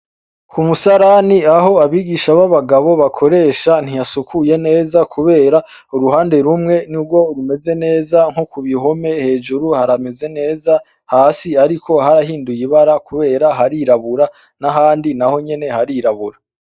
Kumusarani aho abigisha b'abagabo bakoresha ntihasukuye neza kubera uruhande rumwe nigwo rumeze neza nokubihome hejuru harameze neza, hasi ariko harahinduye ibara kubera harirabura n'ahandi naho nyene harirabura.